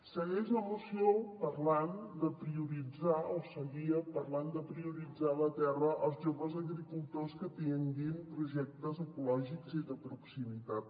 segueix la moció parlant de prioritzar o seguia parlant de prioritzar la terra als joves agricultors que tinguin projectes ecològics i de proximitat